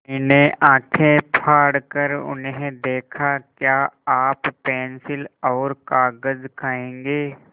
मैंने आँखें फाड़ कर उन्हें देखा क्या आप पेन्सिल और कागज़ खाएँगे